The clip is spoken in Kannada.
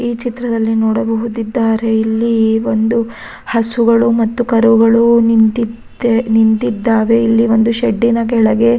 ಈ ಚಿತ್ರದಲ್ಲಿ ನೋಡಬಹುದಿದ್ದಾರೆ ಇಲ್ಲಿ ಒಂದು ಹಸುಗಳು ಮತ್ತು ಕರುಗಳು ನಿಂತಿದ್ದೆ ನಿಂತಿದ್ದಾವೆ ಇಲ್ಲಿ ಒಂದು ಶೆಡ್ಡ್ ನ ಕೆಳಗೆ.